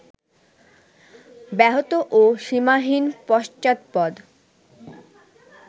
ব্যাহত ও সীমাহীন পশ্চাৎপদ